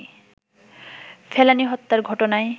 ফেলানি হত্যার ঘটনায়